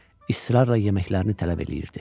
İsrarla yeməklərini tələb eləyirdi.